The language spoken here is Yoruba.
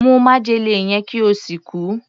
Mu májèlé yẹn kí o sì kú!